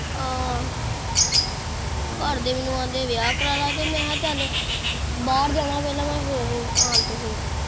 ਆਹ ਘਰਦੇ ਮੈਨੂੰ ਆਖਦੇ ਵਿਆਹ ਕਰਾਂ ਲੈ ਤੇ ਮੈਂ ਕਿਹਾ ਚੱਲ ਬਾਹਰ ਜਾਣਾ ਪਹਿਲਾਂ ਮੈਂ ਫੇਰ ਆਣ ਕੇ ਫੇਰ।